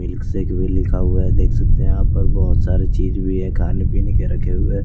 Milkshake भी लिखा हुआ है देख सकते है आप और बहुत सारे चीज भी है खाने पीने के रखे हुए।